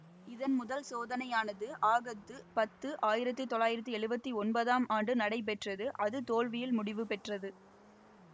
இதன் முதல் சோதனையானது ஆகத்து பத்து ஆயிரத்தி தொள்ளாயிரத்தி எழுவத்தி ஒன்பதாம் ஆண்டு நடைபெற்றது அது தோல்வியில் முடிவு பெற்றது